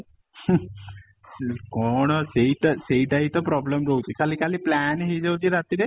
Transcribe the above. ହୁଁମ ହୁଁ କ'ଣ ସେଇଟା ସେଇଟା ହିଁ ତ problem ରହୁଛି ଖାଲି ଖାଲି plan ହେଇ ଯାଉଛି ରାତିରେ